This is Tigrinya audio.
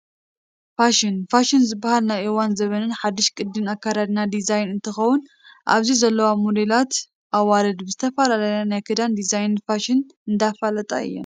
ፋሽን፡- ፋሽን ዝባሃል ናይ እዋንን ዘበንን ሓዱሽ ቅዲ ኣካዳድናን ዲዛይንን እንትኸውን ኣብዚ ዘለዋ ሞዴላት ኣዋልድ ብዝተፈላለየ ናይ ክዳን ዲዛይናት ፋሽን እንዳፋለጣ እየን፡፡